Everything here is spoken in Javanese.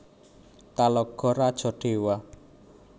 Talago Rajo Dewa